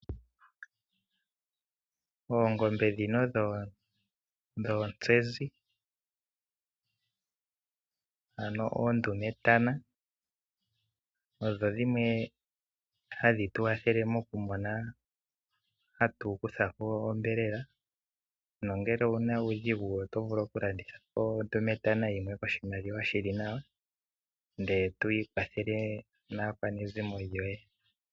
Oongombe dhino dhoontsezi, ano oondumetana odho dhimwe hadhi Tu kwathele mokumona ,hatu kutha ko onyama nongele owu na uudhigu oto vulu okulanditha po ondumetana yimwe koshimaliwa shi li nawa e to ikwathele naakwanezimo lyoye.